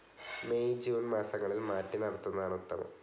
May June മാസങ്ങളിൽ മാറ്റി നടുന്നതാണ് ഉത്തമം.